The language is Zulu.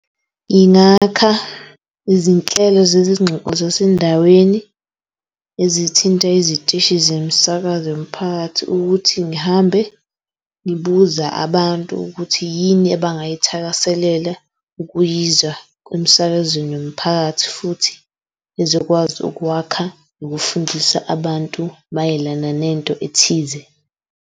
Yingakha izinhlelo zezingxoxo zasendaweni ezithinta izitishi zemsakazo yomphakathi. Ukuthi ngihambe ngibuza abantu ukuthi yini ebangayithakaselela ukuyizwa emsakazweni yomphakathi futhi izokwazi ukwakha ukufundisa abantu mayelana nento ethize.